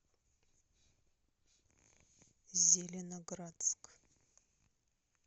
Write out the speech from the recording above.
зеленоградск